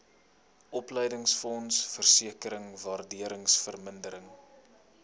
opleidingsfonds versekering waardevermindering